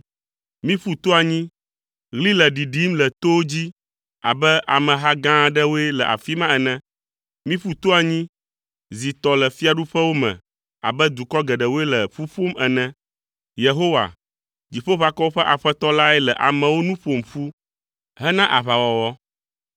Miƒu to anyi, ɣli le ɖiɖim le towo dzi abe ameha gã aɖewoe le afi ma ene. Miƒu to anyi, zi tɔ le fiaɖuƒewo me abe dukɔ geɖewoe le ƒu ƒom ene. Yehowa, Dziƒoʋakɔwo ƒe Aƒetɔ lae le amewo nu ƒom ƒu hena aʋawɔwɔ.